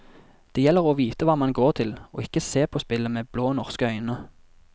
Det gjelder å vite hva man går til, og ikke se på spillet med blå norske øyne.